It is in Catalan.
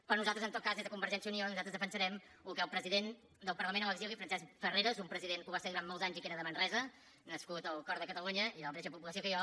però nosaltres en tot cas des de convergència i unió defensarem el que el president del parlament a l’exili francesc farreras un president que ho va ser durant molts anys i que era de manresa nascut al cor de catalunya i de la mateixa població que jo